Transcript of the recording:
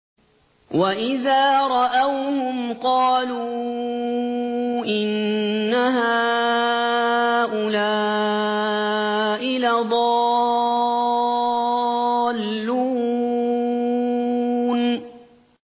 وَإِذَا رَأَوْهُمْ قَالُوا إِنَّ هَٰؤُلَاءِ لَضَالُّونَ